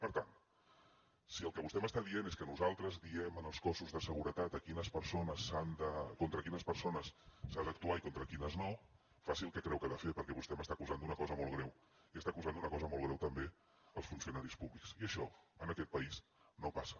per tant si el que vostè m’està dient és que nosaltres diem als cossos de seguretat contra quines persones s’ha d’actuar i contra quines no faci el que creu que ha de fer perquè vostè m’està acusant d’una cosa molt greu i està acusant d’una cosa molt greu també als funcionaris públics i això en aquest país no passa